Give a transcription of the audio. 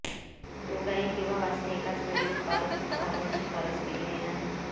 तो गायी किंवा वासरे एकाच वेळी उत्पादक चालणे शिफारस केलेली नाही